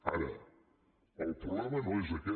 ara el problema no és aquest